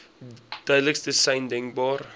duidelikste sein denkbaar